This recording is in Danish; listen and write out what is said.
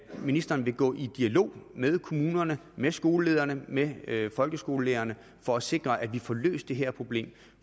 ministeren vil gå i dialog med kommunerne med skolelederne med med folkeskolelærerne for at sikre at vi får løst det her problem